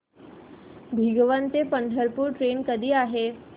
भिगवण ते पंढरपूर ट्रेन कधी आहे